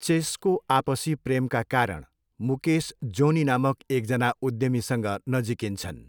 चेसको आपसी प्रेमका कारण मुकेस जोनी नामक एकजना उद्यमीसँग नजिकिन्छन्।